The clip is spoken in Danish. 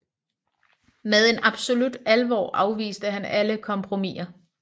Med en absolut alvor afviste han alle kompromiser